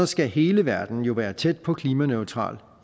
skal hele verden jo være tæt på klimaneutral